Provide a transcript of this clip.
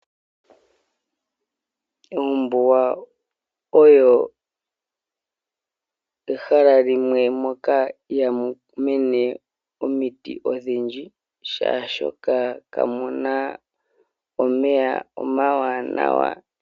Ombuga oyo ehala limwe moka ihamu mene omiti odhindji, molwashoka kamuna omeya omawanawa.